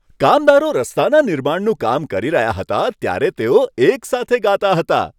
કામદારો રસ્તાના નિર્માણનું કામ કરી રહ્યા હતા, ત્યારે તેઓ એકસાથે ગાતા હતા.